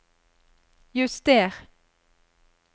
juster